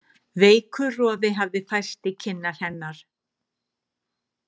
Veikur roði hafði færst í kinnar hennar.